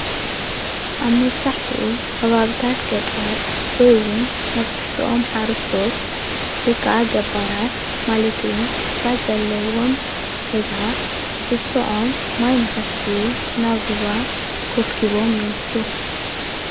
አብ መብዛሕቲኡ ኸባብታት ገጠር ወይ እውን መብዛሕቲኦም ሓርስቶት ወይ ከዓ ገባራት ማለት እውን እንሳስ ዘለዎም ገዛ እንስሰኦም ማይ ንከስትዩ ናብ ሩባ ኮብቢቦም ይወስዱ፡፡